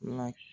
La